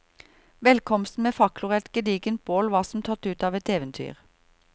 Velkomsten med fakler og et gedigent bål var som tatt ut av et eventyr.